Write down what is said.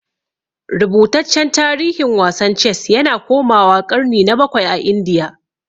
Rubutaccen tarihin wasan Ces yana komawa ƙarni na bakwai a Indiya.